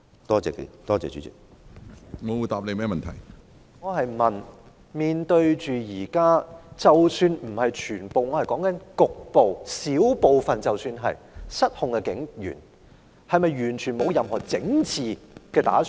主席，我是問面對現時——即使不是全部，我說的是局部——小部分失控的警員，當局是否完全沒有任何整治的打算？